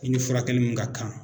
I ni furakɛli mun ka kan